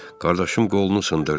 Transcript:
Qardaşım qolunu sındırdı.